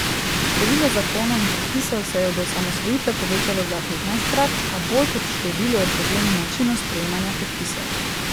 Število zakonov in predpisov se je od osamosvojitve povečalo za petnajstkrat, a bolj kot v številu je problem v načinu sprejemanja prepisov.